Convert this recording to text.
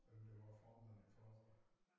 Hvem der var formand for øh